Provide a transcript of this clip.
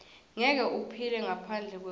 ngeke uphile ngaphandle kwekudla